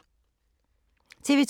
TV 2